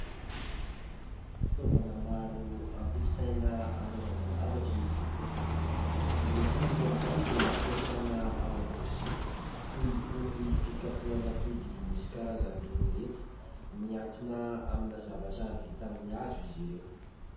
Fitaovana maro ampiasaina anaovana zavatra izy ireto. Ny sasany amin'izany dia ampiasaina ao an-dakozia, toy itony fikapohana atody misy karazany roa ireto. Mihantona amina zavatra vita amin'ny hazo izy ireo.